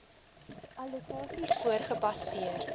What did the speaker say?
allokasies voor gebaseer